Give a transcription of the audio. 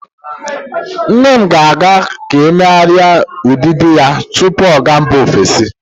Nne m ga-aga ka emeghari udidi ya tupu ọ ga mba ofesi.